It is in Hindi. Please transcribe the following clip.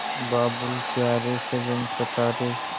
बाबुल प्यारे सजन सखा रे